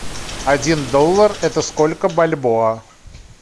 один доллар это сколько бальбоа